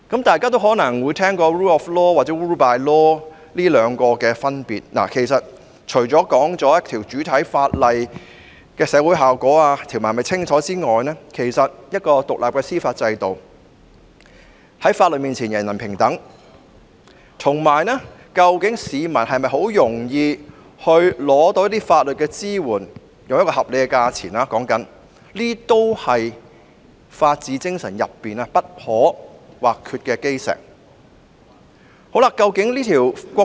大家可能也聽過 rule of law 與 rule by law 的分別，其實，除了主體法例的社會效果、條文是否清晰外，司法制度是否獨立、法律面前是否人人平等，以及市民能否以合理價錢輕易取得法律支援等因素，也是法治精神中不可或缺的基石。